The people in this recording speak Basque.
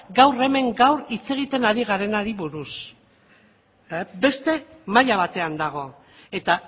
gaur hemen gaur hitz egiten ari garenari buruz beste maila batean dago eta